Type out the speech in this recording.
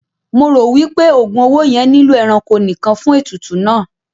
Mo ro wipe ogun owó yẹn nilo ẹranko nìkàn fún ètùtù náà.